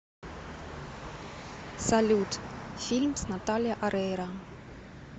салют фильм с наталия орейро